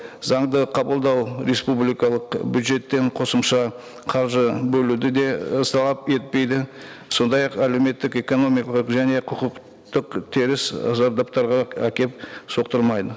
заңды қабылдау республикалық бюджеттен қосымша қаржы бөлуді де етпейді сондай ақ әлеуметтік экономикалық және құқық теріс зардаптарға әкеліп соқтырмайды